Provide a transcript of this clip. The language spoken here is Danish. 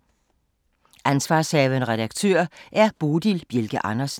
Ansv. redaktør: Bodil Bjelke Andersen